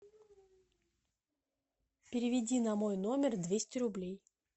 переведи на мой номер двести рублей